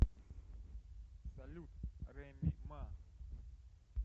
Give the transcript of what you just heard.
салют реми ма